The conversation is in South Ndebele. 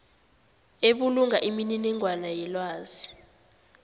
ebulunga imininingwana yelwazi